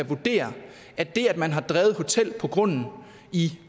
vurdere at det at man har drevet hotel på grunden i